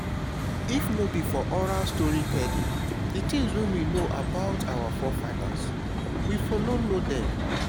if no be for oral story telling di things wey we know about our forefathers we for no know dem